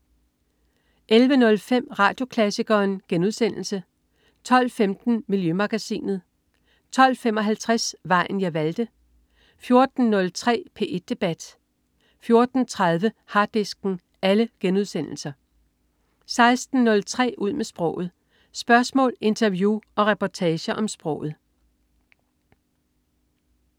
11.05 Radioklassikeren* 12.15 Miljømagasinet* 12.55 Vejen jeg valgte* 14.03 P1 debat* 14.30 Harddisken* 16.03 Ud med sproget. Spørgsmål, interview og reportager om sproget